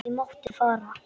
Ég mátti fara.